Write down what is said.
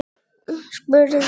spurði Álfur.